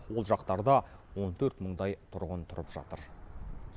ол жақтарда он төрт мыңдай тұрғын тұрып жатыр